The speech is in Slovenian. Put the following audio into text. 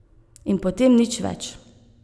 In potem nič več.